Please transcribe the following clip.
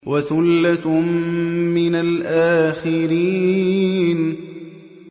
وَثُلَّةٌ مِّنَ الْآخِرِينَ